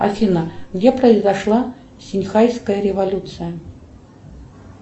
афина где произошла синьхайская революция